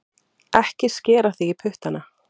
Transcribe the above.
Ekki skera þig í puttana